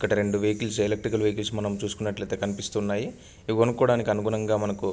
ఇక్కడ రెండు vehicles electricals vehicles మనం చూసుకున్నట్లు ఐతే కనిపిస్తున్నాయి. ఇవి కొనుకాడానికి అనుకూలంగా మనకు --